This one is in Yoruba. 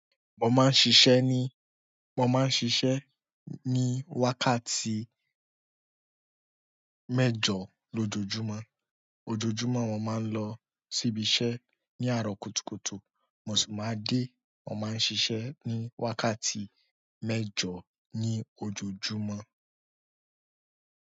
Wọn máa ń ṣiṣẹ́ ní, wọn máa ń ṣiṣẹ́ ní wákàtí mẹ́jọ lójoojúmọ́. Ojoojúmọ́ wọn máa ń lọ síbi iṣẹ́ ní àárọ̀ kùtùkùtù. Mò sì máa dé, wọn máa ń ṣiṣẹ́ ní wákàtí mẹ́jọ ní ojoojúmọ́.